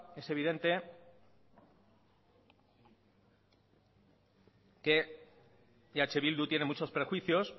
es evidente que eh bildu tiene muchos prejuicios